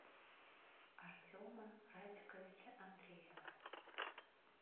артема радиковича андреева